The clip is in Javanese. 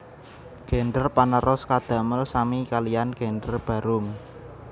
Gender panerus kadamel sami kaliyan gender barung